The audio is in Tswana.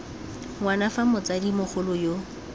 ngwana fa motsadi mogolo yo